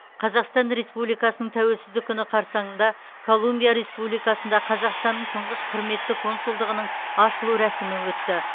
қазақстан республикасының тәуелсіздік күні қарсаңында колумбия республикасында қазақстанның тұңғыш құрметті консулдығының ашылу рәсімі өтті